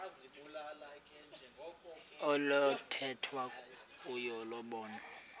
oluthethwa kuyo lobonwa